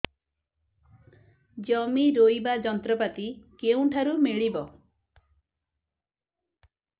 ଜମି ରୋଇବା ଯନ୍ତ୍ରପାତି କେଉଁଠାରୁ ମିଳିବ